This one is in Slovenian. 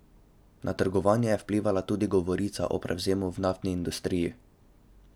Na trgovanje je vplivala tudi govorica o prevzemu v naftni industriji.